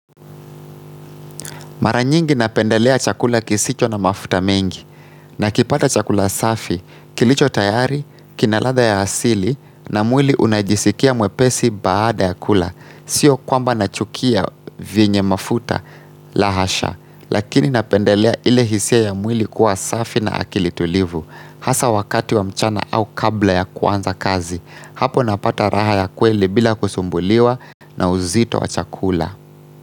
Mara nyingi napendelea chakula kisicho na mafuta mengi, nakipata chakula safi, kilicho tayari, kina ladha ya asili, na mwili unajisikia mwepesi baada ya kula. Sio kwamba nachukia vyenye mafuta la hasha, lakini napendelea ile hisia ya mwili kuwa safi na akili tulivu, hasa wakati wa mchana au kabla ya kuanza kazi, hapo napata raha ya kweli bila kusumbuliwa na uzito wa chakula.